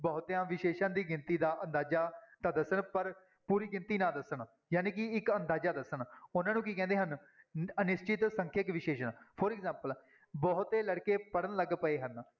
ਬਹੁਤਿਆਂ ਵਿਸ਼ੇਸ਼ਣ ਦੀ ਗਿਣਤੀ ਦਾ ਅੰਦਾਜਾ ਤਾਂ ਦੱਸਣ ਪਰ ਪੂਰੀ ਗਿਣਤੀ ਨਾ ਦੱਸਣ, ਜਾਣੀ ਕਿ ਇੱਕ ਅੰਦਾਜਾ ਦੱਸਣ ਉਹਨਾਂ ਨੂੰ ਕੀ ਕਹਿੰਦੇ ਹਨ, ਅਨਿਸ਼ਚਿਤ ਸੰਖਿਅਕ ਵਿਸ਼ੇਸ਼ਣ for example ਬਹੁਤੇ ਲੜਕੇ ਪੜ੍ਹਨ ਲੱਗ ਪਏ ਹਨ।